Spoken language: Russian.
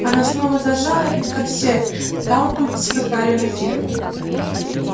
она снова заржала и тогда все галопом поскакали на ферму